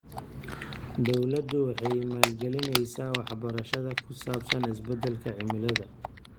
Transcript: Dawladdu waxay maalgelinaysaa waxbarashada ku saabsan isbeddelka cimilada.